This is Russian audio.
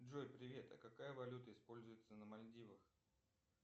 джой привет а какая валюта используется на мальдивах